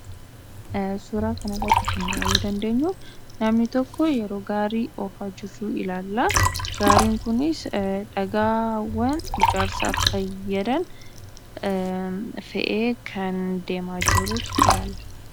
Suuraa kana irratti kan arguu dandeenyu namni tokko yeroo gaarii hojjetuu ilaalla. Gaariin kunis dhagaawwan ijaarsaaf fayyadan fe'ee kan deemaa jiru ilaalla.